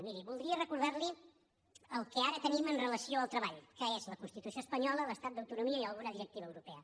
miri voldria recordar li el que ara tenim amb relació al treball que és la constitució espanyola l’estatut d’autonomia i alguna directiva europea